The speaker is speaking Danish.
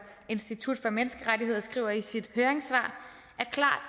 institut for menneskerettigheder skriver i sit høringssvar